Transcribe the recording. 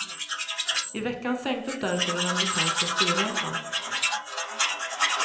I veckan sänktes därför den amerikanska styrräntan.